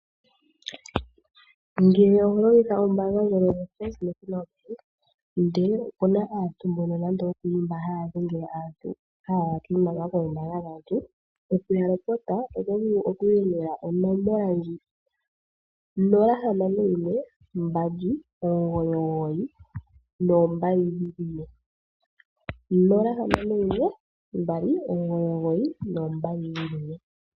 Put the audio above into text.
Ngele oho longitha ombaanga ndjono yoFirst National Bank ndele opu na nande aantu mbono haya dhengele aantu, haya yaka iimaliwa koombaanga dhaantu, okuya lopota oto vulu oku dhengela onomola ndji 0612992222.